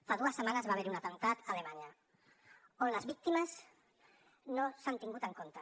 fa dues setmanes va haver hi un atemptat a alemanya i les víctimes no s’han tingut en compte